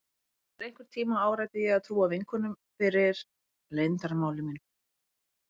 Eftir einhvern tíma áræddi ég að trúa vinkonunum fyrir leyndarmáli mínu.